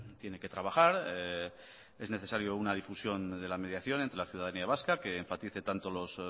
tiene que trabajar es necesario una difusión de la mediación entre la ciudadanía vasca que enfatice tanto los